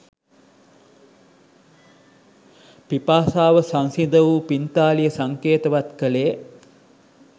පිපාසාව සංසිඳ වූ පිංතාලිය සංකේතවත් කළේ